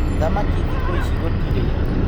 Thamaki thĩkũ ici gũtirĩ.